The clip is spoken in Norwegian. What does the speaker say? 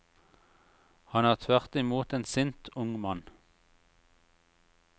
Han er tvert i mot en sint, ung mann.